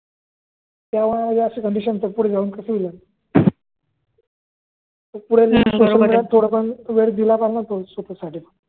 तेव्हा अशी कंडीशन होती दोनशे रूपये साडीला